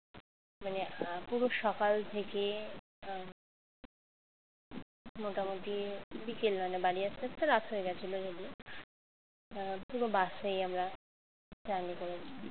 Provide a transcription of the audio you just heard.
মানে আহ পুরো সকাল থেকে আহ মোটামুটি বিকেল বেলা বাড়ি আসতে আসতে রাত হয়ে গেছিল যদিও আহ পুরো বাসেই আমরা journey করেছি